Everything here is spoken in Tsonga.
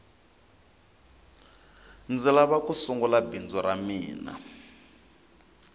ndzi lava ku sungula bindzu ra mina